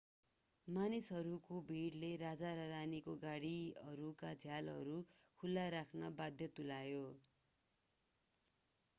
मानिसहरूको भिडले राजा र रानीका गाडीहरूका झ्यालहरू खुला राख्न बाध्य तुल्याए